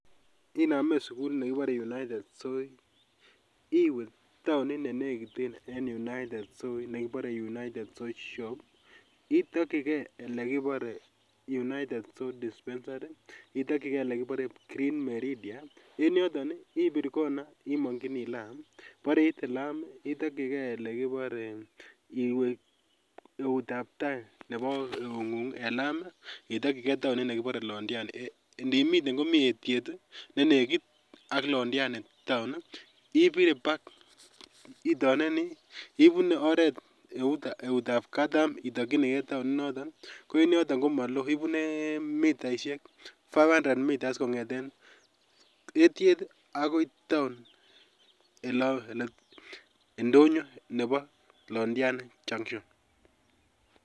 Inamen sugulit nekibore United Soi, iwe taonit ne negit en United Soi nekibore United Soishop. Itakyike lekibore United Soi Dispensary, itokyike olekibore green meridia. En yoton ibir kona yemongyini laam, bore iite laam, itokyike elekibore, iwe eutab tai nebo eungung en laam itokyike taonit nekibore Londiani. Ndimiten komi etiet ne negit ak Londiani taon, ipirepak, ibune oret eutab katam itokyinige taonit niton. Ko en yoton komalo. Ibune mitaisiek 500m kingeten eetyet agoi taon, indonyo nebo Londiani Junction.